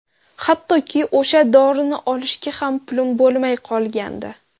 Hattoki o‘sha dorini olishga ham pulim bo‘lmay qolgandi.